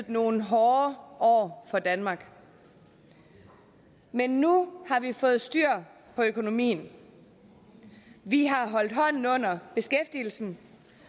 nogle hårde år for danmark men nu har vi fået styr på økonomien vi har holdt hånden under beskæftigelsen